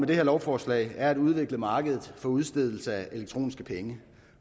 det her lovforslag er at udvikle markedet for udstedelse af elektroniske penge